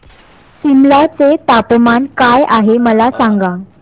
सिमला चे तापमान काय आहे मला सांगा